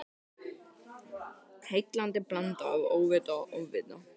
Heillandi blanda af óvita og ofvita.